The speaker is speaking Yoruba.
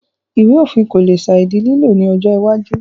Ìwé òfin kò le sàì di lílò ní ọjọ́ iwájú